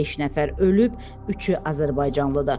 Beş nəfər ölüb, üçü azərbaycanlıdır.